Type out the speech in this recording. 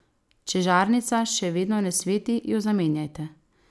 Če žarnica še vedno ne sveti, jo zamenjajte.